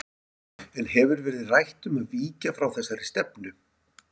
En hefur verið rætt um að víkja frá þessari stefnu?